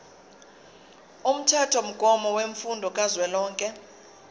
umthethomgomo wemfundo kazwelonke